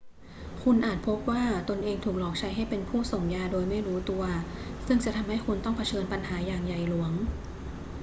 คุณอาจพบว่าตนเองถูกหลอกใช้ให้เป็นผู้ส่งยาโดยไม่รู้ตัว ซึ่งจะทำให้คุณต้องเผชิญปัญหาอย่างใหญ่หลวง